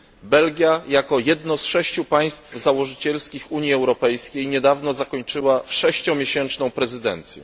Belgia jako jedno z sześciu państw założycielskich Unii Europejskiej niedawno zakończyła sześciomiesięczną prezydencję.